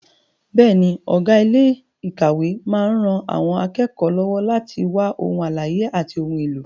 Bẹ́ẹ̀ni, ọ̀gá ilé ìkàwé máa ń ran àwọn akẹ́kọ̀ọ́ lọ́wọ́ láti wá ohun àlàyé àti ohun èlò.